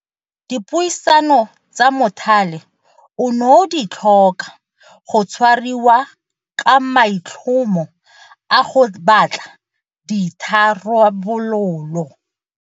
Dipuisano tsa mothale ono di tlhoka go tshwariwa ka maitlhomo a go batla ditha rabololo.